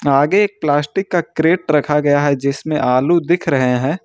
आगे एक प्लास्टिक का कैरेट रखा गया है जिसमें आलू दिख रहे हैं।